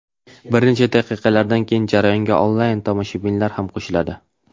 Bir necha daqiqalardan keyin jarayonga onlayn tomoshabinlar ham qo‘shiladi.